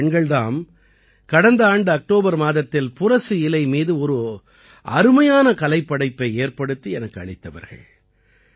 இந்தப் பெண்கள் தாம் கடந்த ஆண்டு அக்டோபர் மாதத்தில் புரசு இலை மீது ஒரு அருமையான கலைப்படைப்பை ஏற்படுத்தி எனக்கு அளித்தவர்கள்